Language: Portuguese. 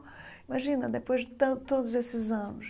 Imagina, depois de tan todos esses anos.